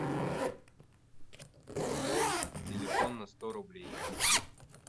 пополнить телефон на сто рублей